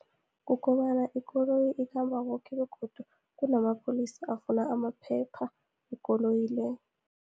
Kukobana ikoloyi ikhamba koke, begodu kunamapholisa afuna amaphepha wekoloyi le.